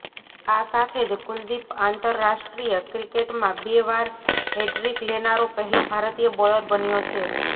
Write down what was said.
આ સાથે જ કુલદીપ આંતરરાષ્ટ્રીય ક્રિકેટમાં બે વાર હેડ્રિક લેનારો પહેલો ભારતીય બોલર બન્યો છે